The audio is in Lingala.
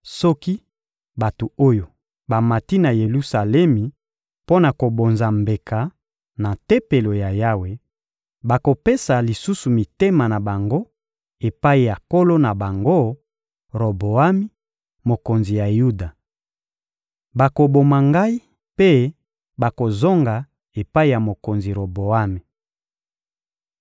Soki bato oyo bamati na Yelusalemi mpo na kobonza mbeka na Tempelo ya Yawe, bakopesa lisusu mitema na bango epai ya nkolo na bango, Roboami, mokonzi ya Yuda. Bakoboma ngai mpe bakozonga epai ya mokonzi Roboami.»